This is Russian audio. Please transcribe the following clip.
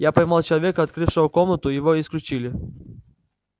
я поймал человека открывшего комнату и его исключили